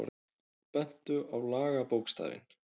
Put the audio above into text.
Bentu á lagabókstafinn